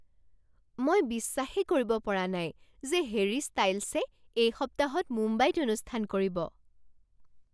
মই বিশ্বাসেই কৰিব পৰা নাই যে হেৰী ষ্টাইল্ছে এই সপ্তাহত মুম্বাইত অনুষ্ঠান কৰিব।